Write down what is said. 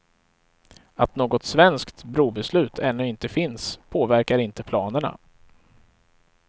Att något svenskt brobeslut ännu inte finns påverkar inte planerna.